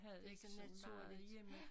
Det så naturligt ja